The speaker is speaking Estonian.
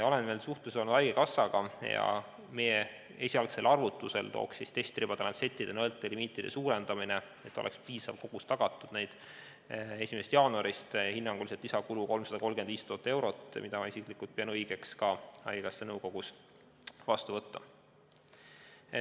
Olen suhelnud haigekassaga ning meie esialgse arvutuse kohaselt tooks testribade, lantsettide ja nõelte limiidi suurendamine, et tagada nende piisav kogus, 1. jaanuarist kaasa hinnanguliselt 335 000 eurot lisakulu, mida ma isiklikult pean õigeks haigekassa nõukogus heaks kiita.